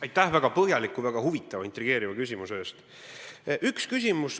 Aitäh väga põhjaliku, väga huvitava ja intrigeeriva küsimuse eest!